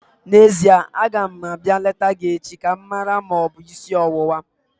N'ezie, aga m abịa leta gị echi ka m mara ma ọ bụ isi ọwụwa